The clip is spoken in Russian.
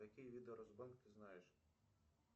какие виды росбанк ты знаешь